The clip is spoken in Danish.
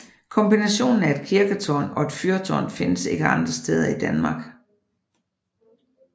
Kombinationen af et kirketårn og et fyrtårn findes ikke andre steder i Danmark